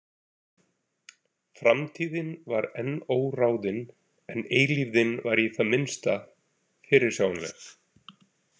Framtíðin var enn óráðin, en eilífðin var í það minnsta fyrirsjáanleg.